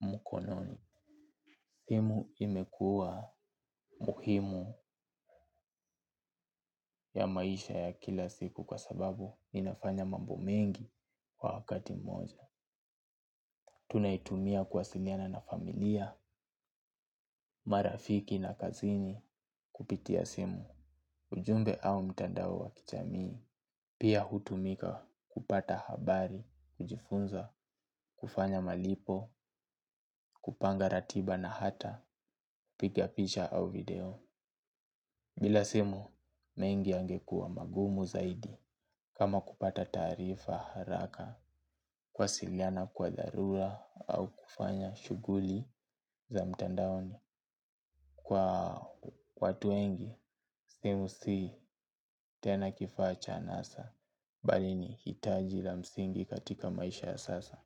mkononi. Simu imekuwa muhimu ya maisha ya kila siku kwa sababu inafanya mambo mengi kwa wakati mmoja. Tunaitumia kuwasiliana na familia, marafiki na kazini kupitia simu. Ujumbe au mtandao wa kijamii pia hutumika kupata habari, kujifunza, kufanya malipo, kupanga ratiba na hata kupiga picha au video. Bila simu, mengi yangekuwa magumu zaidi kama kupata taarifa haraka kuwasiliana kwa dharura au kufanya shughuli za mtandaoni. Kwa watu wengi, simu si tena kifaa cha anasa bali ni hitaji la msingi katika maisha ya sasa.